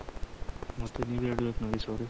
ಮತ್ತೆ ನೀವೇ ಹೆಳ್ಬೇಕು ನಾಗೇಶ್ ಅವ್ರೆ